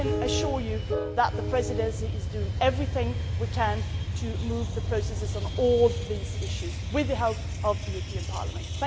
I can assure you that the Presidency is doing everything it can to move the processes on on all these issues, with the help of the European Parliament.